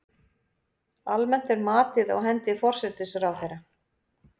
Almennt er matið á hendi forsætisráðherra.